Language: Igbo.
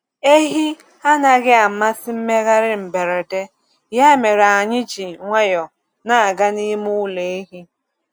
Ehi anaghị amasị mmegharị mberede, ya mere anyị ji nwayọọ na-aga n’ime ụlọ ehi.